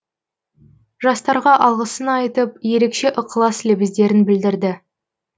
жастарға алғысын айтып ерекше ықылас лебіздерін білдірді